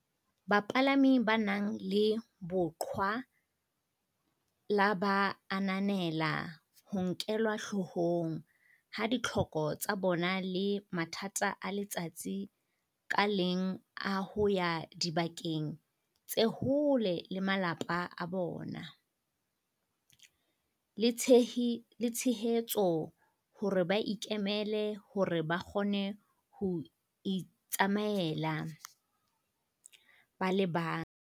"Bapalami ba nang le boqhwa la ba ananela ho nkelwa hloohong ha ditlhoko tsa bona le mathata a letsatsi ka leng a ho ya dibakeng tse hole le malapa a bona, le tshehetso hore ba ikemele hore ba kgone ho itsamaela ba le bang."